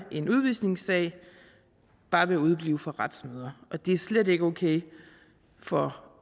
en udvisningssag bare ved at udeblive fra retsmøder og det er slet ikke okay for